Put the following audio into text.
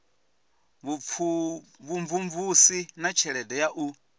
vhumvumvusi na tshelede ya u